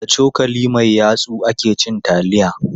Da cokali mai yatsu ake cin taliya.